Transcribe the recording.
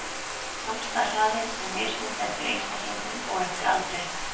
Vaxtarhraði er mismunandi eftir einstaklingum og eftir aldri.